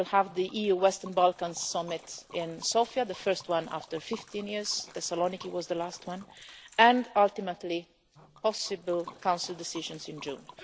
we will have the EU Western Balkans Summit in Sofia the first one for 15 years, Thessaloniki was the last on and ultimately possible Council decisions in